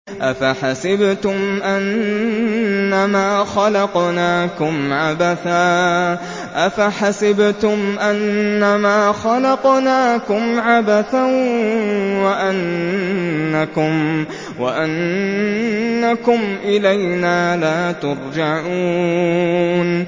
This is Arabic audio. أَفَحَسِبْتُمْ أَنَّمَا خَلَقْنَاكُمْ عَبَثًا وَأَنَّكُمْ إِلَيْنَا لَا تُرْجَعُونَ